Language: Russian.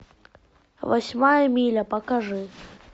восьмая миля покажи